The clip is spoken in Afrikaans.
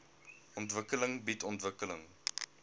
ontwikkeling bied ontwikkeling